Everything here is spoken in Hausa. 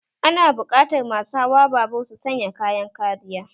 Ana buƙatar masu hawa babur su sanya kayan kariya